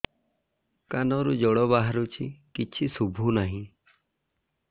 କାନରୁ ଜଳ ବାହାରୁଛି କିଛି ଶୁଭୁ ନାହିଁ